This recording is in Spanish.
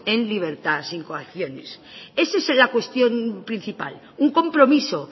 en libertad sin coacciones esa es la cuestión principal un compromiso